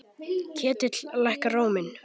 Ketill lækkar róminn.